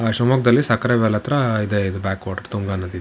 ಶಿವಮೊಗ್ಗದಲ್ಲಿ ಸಕ್ರೆಬೈಲ್ ಹತ್ರ ಇದೆ ಇದು ಬ್ಯಾಕ್ ವಾಟರ್ ತುಂಗಾ ನದಿದ್ದು.